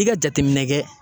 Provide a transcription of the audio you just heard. I ka jateminɛ kɛ.